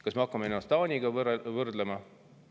Kas me hakkame ennast Taaniga võrdlema?